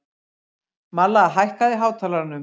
Malla, hækkaðu í hátalaranum.